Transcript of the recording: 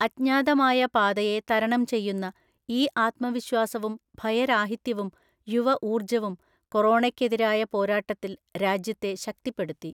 അജ്ഞാതമായ പാതയെ തരണം ചെയ്യുന്ന ഈ ആത്മവിശ്വാസവും ഭയരാഹിത്യവും യുവഊർജ്ജവും കൊറോണയ്ക്കെതിരായ പോരാട്ടത്തിൽ രാജ്യത്തെ ശക്തിപ്പെടുത്തി.